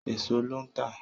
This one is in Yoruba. Èèso ló ń tà